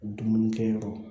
Dumuni kɛ yɔrɔ